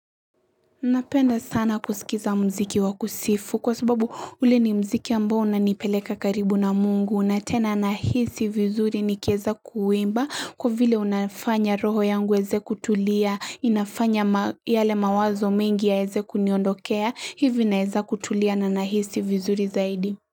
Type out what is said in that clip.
Napenda sana kusilikiza mziki wa kusifu kwa sababu ule ni mziki ambao una nipeleka karibu na mungu. Na tena nahisi vizuri ni kiweza kuimba kwa vile unafanya roho yangu iweze kutulia, inafanya yale mawazo mengi ya weze kuniondokea, hivi naweza kutulia na nahisi vizuri zaidi.